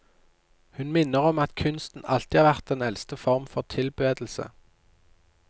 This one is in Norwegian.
Hun minner om at kunsten alltid har vært den eldste form for tilbedelse.